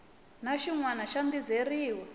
na xin wana xa dizeriwa